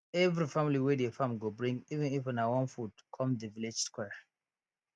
every family wey dey farm go bring even if na one food come the village square